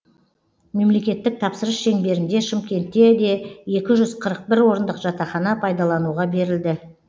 мемлекеттік тапсырыс шеңберінде шымкентте де екі жүз қырық бір орындық жатақхана пайдалануға берілді